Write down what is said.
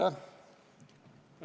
Aitäh!